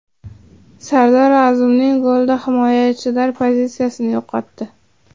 Sardor Azmunning golida himoyachilar pozitsiyani yo‘qotdi?